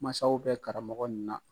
Mansasaw bɛ karamɔgɔ min na.